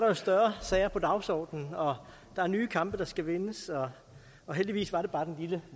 jo større sager på dagsordenen og der er nye kampe der skal vindes heldigvis var det bare den lille